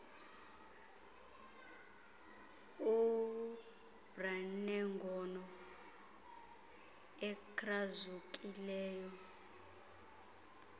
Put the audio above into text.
ubr nengono ekrazukileyo